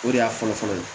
O de y'a fɔlɔ-fɔlɔ ye